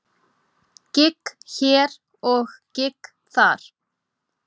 Gigg hér og gigg þar.